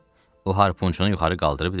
O harpunçunu yuxarı qaldırıb dedi.